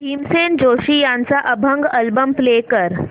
भीमसेन जोशी यांचा अभंग album play कर